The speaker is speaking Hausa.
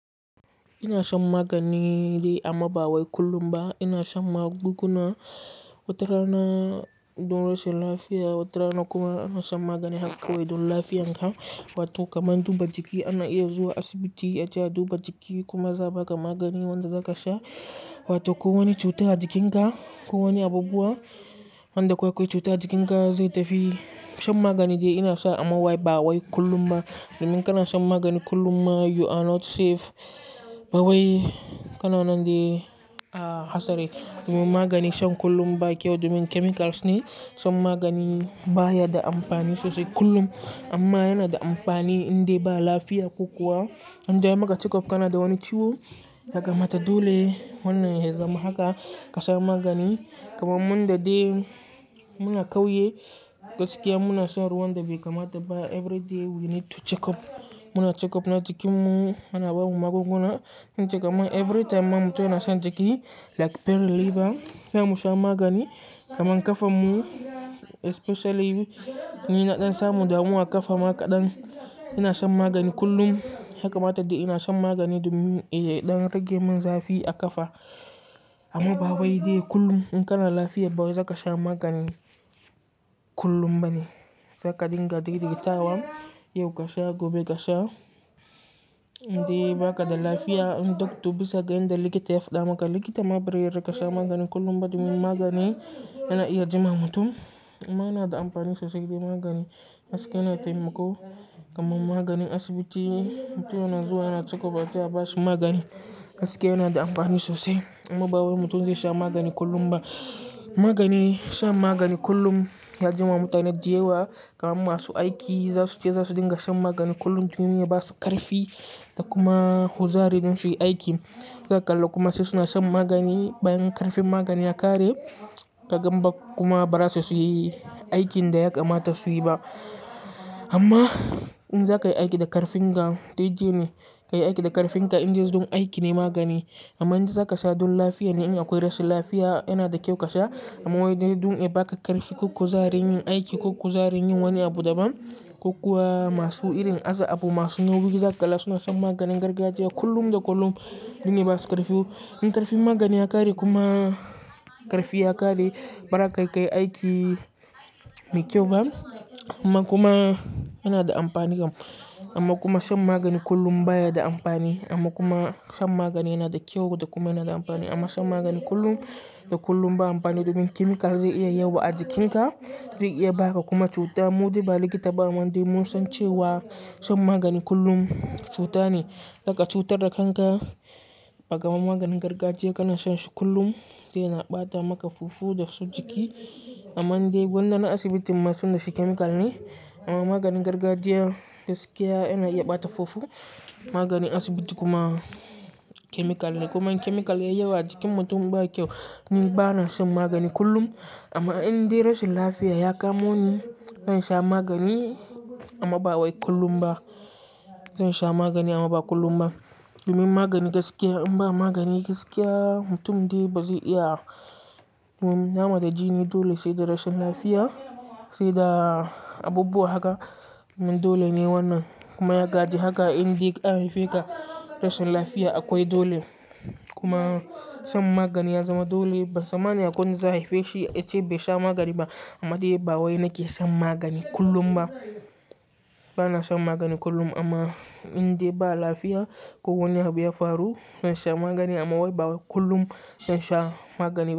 Ina shan magani amma ba wai kullum ba. Ina shan magunguna watarana don rashin lafiya, wata rana kuma ina shan magani haka kawai don lafiyanka. Wato kamar duba jiki ana iya zuwa asibiti a je duba jiki kuma za a baka magani wanda zaka sha. Wato ko wani cuta a jikinka, ko wani abubuwa, wanda ko akwai cuta a jikinka zai tafi shan magani dai ina sha amma wai ba wai kullum ba. Domin kana shan magani kullum ma you are not safe. Ba wai kana nan dai a hasare. Domin magani shan kullum ba kyau domin chemicals ne. Shan magani baya da amfani sosai kullum. Amma yana da amfani inda ba lafiya ko kuwa inda anyi maka check up kana da wani ciwo. Yaka mata dole wannan ya zama haka ka sha magani. Kaman mun da dai muna kauye gaskiya muna shan ruwan da bai. Kamata ba everyday we need to check up. Muna check up na jikin mu, ana ba mu magunguna. Zan ce kamar every time mutum yana shan jiki like pain reliever sai mu sha magani. Kamar ƙafan mu especially ni na ɗan samu damuwa a ƙafa ma kaɗan ina shan magani kullum. Yaka mata dai ina shan magani domin eh ya ɗan rage min zafi a ƙafa. Amma ba wai dai kullum in kana lafiya ba wai zaka sha magani kullum bane. Za ka dinga daidaiwa, yau ka sha gobe ka sha. Inda baka da lafiya in doctor bisa ga inda likita ya faɗa maka likita ma ba rika sha magani kullum ba domin magani yana iya jima mutum. Amma yana da amfani sosai dai magani gaskiya yana taimako. Kaman maganin asibiti mutum yana zuwa yana check up har sai a bashi magani. Gaskiya yana da amfani sosai amma ba wai mutum zai sha magani kullum ba. Magani, shan magani kullum ya jima mutanen da yawa kaman masu aiki za su ce za su dinga shan magani kullum domin ya ba su ƙarfi da kuma kuzari don su yi aiki. Suna kalla kuma sai suna shan magani bayan ƙarfin magani ya ƙare. Kagan ba kuma ba za su iya yi aikin da ya kamata su yi ba. Amma in za ka yi aiki da ƙarfin ka dai dai ne. Ka yi aiki da ƙarfin ka in dai don aiki ne magani. Amma in dai za ka sha don lafiya ne in akwai rashin lafiya yana da kyau ka sha. Amma wai dai don ya baka ƙarfi ko kuzari yin aiki ko kuzari yin wani abu daban. Ko kuwa masu irin aza abu masu nauyi za ka ƙalla suna shan maganin gargajiya kullum da kullum domin ya ba su ƙarfi. In ƙarfin magani ya ƙare kuma ƙarfi ya ƙare ba za ka iya ka yi aiki mai kyau ba. Amma kuma yana da amfani kam. Amma kuma shan magani kullum baya da amfani. Amma kuma shan magani yana da kyau da kuma yana da amfani. Amma shan magani kullum, da kullum ba amfani domin chemical zai iya yawa a jikinka. Zai iya baka kuma cuta. Mu dai ba likita ba amma dai mun san cewa shan magani kullum cuta ne. Zaka cutar da kanka. Ba kamar maganin gargajiya kana shan shi kullum dai yana ɓata maka fufu da su jiki. Amma in dai gwanda na asibitin ma tun da shi chemical ne. Amma maganin gargajiya gaskiya yana iya ɓata fufu. Maganin asibiti kuma chemical ne. Kuma in chemical yayi yawa a jikin mutum ba kyau. Ni ba na shan magani kullum. Amma in dai rashin lafiya ya kamoni zan sha magani amma ba wai kullum ba. Zan sha magani amma ba kullum ba. Domin magani gaskiya in ba magani gaskiya mutum dai ba zai iya yin, nama da jini dole sai da rashin lafiya sai da abubuwa haka. Dole ne wannan kuma ya gaji haka in dai aka haife ka rashin lafiya akwai dole. Kuma shan magani ya zama dole. Ban tsammani akwai wadda za a haife shi ace bai sha magani ba. Amma dai ba wai nake shan magani kullum ba. Ba na shan magani kullum amma in dai ba lafiya ko wani abu ya faru zan sha magani amma wai ba kullum. Zan sha magani.